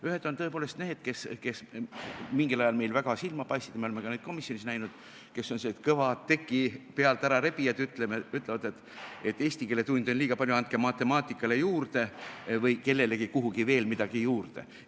Ühed on tõepoolest need, kes mingil ajal meil väga silma paistsid – me oleme ka neid komisjonis näinud –, kes on sellised kõvad teki pealt ära rebijad ja ütlevad, et eesti keele tunde on liiga palju, andke matemaatikale juurde või kellelegi kuhugi veel midagi juurde.